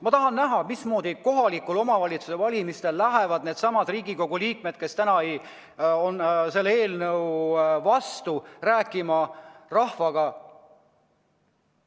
Ma tahan näha, mismoodi lähevad needsamad Riigikogu liikmed, kes täna selle eelnõu vastu on, kohaliku omavalitsuse valimistel rahvaga rääkima.